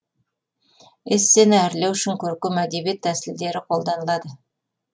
эссені әрлеу үшін көркем әдеби тәсілдер қолданылады